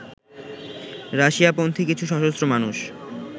রাশিয়াপন্থী কিছু সশস্ত্র মানুষ